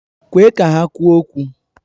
Kwe ka ha kwuo okwu!